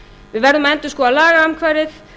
við verðum að endurskoða lagaumhverfið